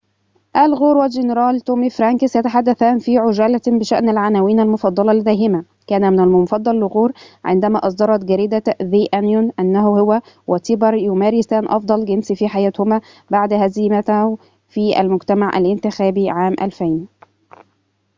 آل غور والجنرال تومي فرانكس يتحدثان في عجالة بشأن العناوين المفضلة لديهما كان المفضل لغور عندما أصدرت جريدة ذي أنيون أنه هو وتيبر يمارسان أفضل جنس في حياتهما بعد هزيمته في المجمع الانتخابي عام 2000